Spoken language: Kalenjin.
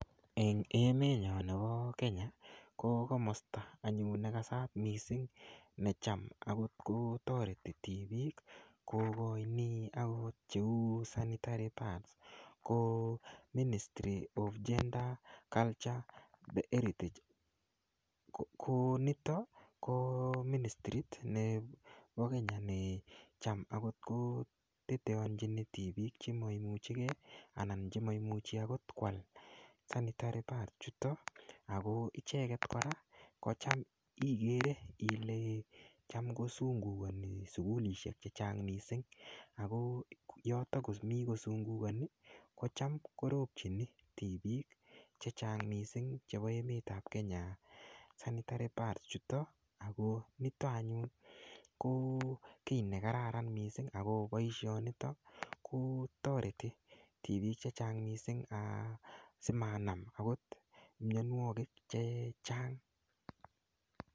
En emenyon nebo kenya ko komata anyun negasat missing necham okot kotoreti tibiik kogoini okot cheu sanitary pads ko ministry of Gender ,culture the heritage ko nito ko minisrit nebo kenya necham okot koteteonyin tibiik chemoimuche gee anan chemoimuchi okot kwal sanitary pads, chuto ko icheget kora kole cham kosungugoni sugulisiek chechang missing, ako yoto komi kosungugoninkorobjin tibiikchechang missing chebo emet ab kenya sanitary pads chuto ako nito anyun ko kiit nekararan missing ako boisionito ko toreti tibiik chechang missing asimanam okot mionwogik chechang.